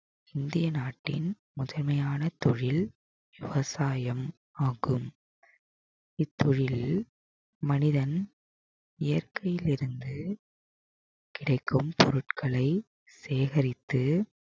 இந்திய நாட்டின் முதன்மையான தொழில் விவசாயம் ஆகும் இத்தொழிலில் மனிதன் இயற்கையிலிருந்து கிடைக்கும் பொருட்களை சேகரித்து